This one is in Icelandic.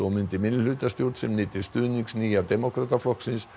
myndi minnihlutastjórn sem nyti stuðnings Nýja demókrataflokksins